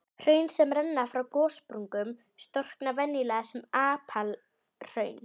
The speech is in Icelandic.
Hraun sem renna frá gossprungum storkna venjulega sem apalhraun.